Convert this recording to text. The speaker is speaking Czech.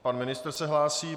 Pan ministr se hlásí.